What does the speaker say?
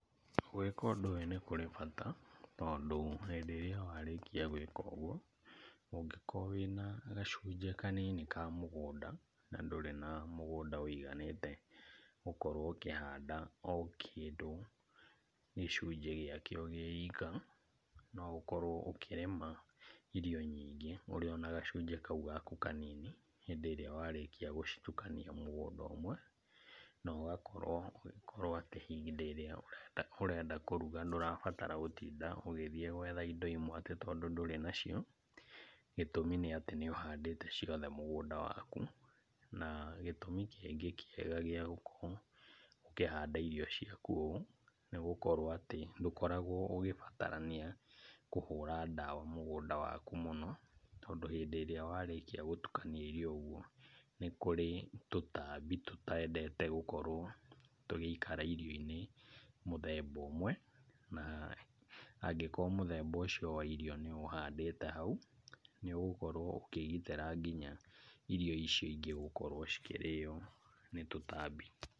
Gwĩka ũndũ ũyũ nĩkũrĩ bata, tondũ hĩndĩ ĩrĩa warĩkia gwĩka ũguo ũngĩkorwo wĩna gacunjĩ kanini ka mũgũnda na ndũrĩ na mũgũnda ũiganĩte gũkorwo ũkĩhanda o kĩndũ gĩcunjĩ gĩakĩo gĩ ika, no ũkorwo ũkĩrĩma irio nyingĩ ũrĩ o na gacunjĩ o kau gaku kanini, hĩndĩ ĩrĩa warĩkia gũcitukania mũgũnda ũmwe, na ũgakorwo ũgĩkorwo atĩ hĩndĩ ĩrĩa ũrenda kũruga ndũrabatara gũtinda ũgĩthiĩ gwetha indo imwe atĩ tondũ ndũrĩ nacio, gĩtũmi nĩ atĩ nĩ ũhandĩte ciothe mũgũnda waku. Na gĩtũmi kĩngĩ kĩega gĩa gũkorwo ũkĩhanda irio ciaku ũũ, nĩ gũkorwo atĩ ndũkoragwo ũgĩbatarania kũhũra ndawa mũgũnda waku mũno, tondũ hĩndĩ ĩrĩa warĩkia gũtukania irio ũguo, nĩ kũrĩ tũtambi tũtendete gũkorwo tũgĩikara irio-inĩ mũthemba ũmwe, na angĩkorwo mũthemba ũcio wa irio nĩũhandĩte hau nĩũgũkorwo ũkĩgitĩra nginya irio icio ingĩ gũkorwo cikĩrĩyo nĩ tũtambi.